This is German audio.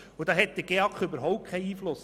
darauf hat der GEAK überhaupt keinen Einfluss.